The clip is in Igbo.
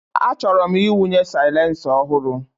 Achọrọ m ịwụnye silencer ọhụrụ.